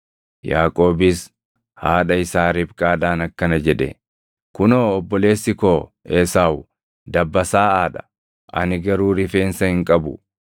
Yaaqoobis haadha isaa Ribqaadhaan akkana jedhe; “Kunoo, obboleessi koo Esaawu dabbasaaʼaa dha; ani garuu rifeensa hin qabu.